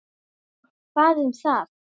Og hvað um það!